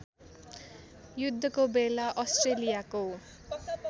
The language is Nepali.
युद्धको बेला अस्ट्रेलियाको